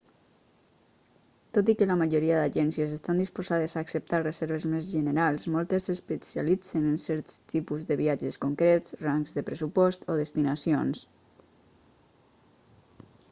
tot i que la majoria d'agències estan disposades a acceptar reserves més generals moltes s'especialitzen en certs tipus de viatges concrets rangs de pressupost o destinacions